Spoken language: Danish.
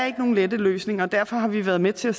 ikke nogen lette løsninger og derfor har vi været med til at